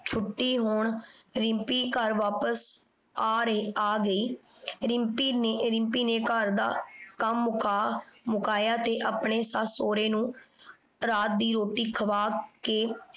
ਛੁਟੀ ਹੋਣ ਰਿਮ੍ਪੀ ਘਰ ਵਾਪਿਸ ਆ ਰਹੀ ਆ ਰੀ। ਰਿਮ੍ਪੀ ਨੇ ਰਿਮਪੀ ਨੇ ਘਰ ਦਾ ਕਮ ਮੁਕਾ ਮੁਕਾਯਾ ਤੇ ਅਪਨੇ ਸੱਸ ਸੋਰੇ ਨੂ ਰਾਤ ਦੀ ਰੋਟੀ ਖਵਾ ਕੇ